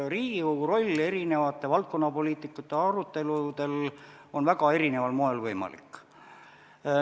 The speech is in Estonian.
Riigikogu roll valdkonnapoliitikate aruteludel on väga erineval moel võimalik.